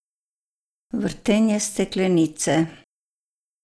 Vrtenje steklenice.